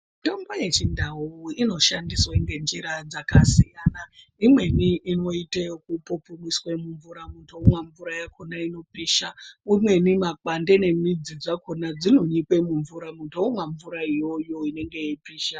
Mitombo yechindau inoshandiswe ngenjira dzakasiyana. Imweni inoite ekupupumise mumvura muntu omwa mvura yakhona inopisha. Umweni makwande nemidzi dzakhona dzinonyikwe mumvura, muntu omwa mvura mvura iyoyo inenge yeipisha.